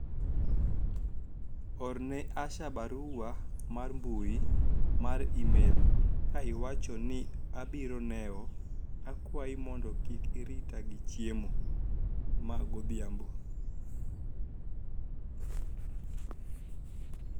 orne Asha barua mar mbui mar email ka iwacho ni abironewo akwayi mondo kik irita gi chiemo ma godhiambo